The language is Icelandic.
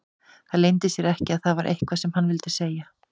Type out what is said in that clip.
Það leyndi sér ekki að það var eitthvað sem hann vildi segja.